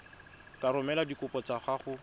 ka romela dikopo tsa gago